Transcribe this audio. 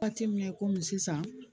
Waati min komi sisan